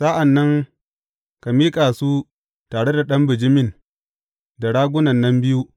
Sa’an nan ka miƙa su tare da ɗan bijimin da ragunan nan biyu.